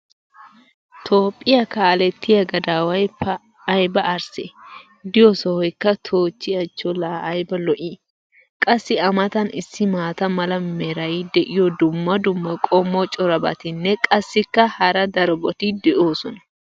toophphiya kaalettiya gadaaway pa ayba arssee! i diyo sohoykka toochchi achcho laa ayba lo'ii? qassi a matan issi maata mala meray diyo dumma dumma qommo corabatinne qassikka hara darobatti doosona